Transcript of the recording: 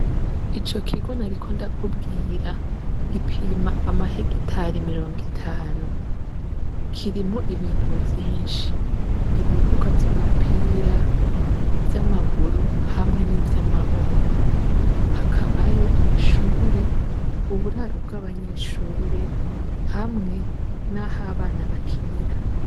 Ico kigona, ariko ndakubwira gipima amaheg itari mirongo itanu kirimo ibintu vyinshi ibibuga vy'umupira vy'amaguru hamwe n'ivyo amaboko hakabayo amashure uburaro bw'abanyeshure h bamwe, naho abana bakinira.